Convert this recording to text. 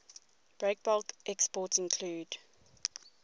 breakbulk exports include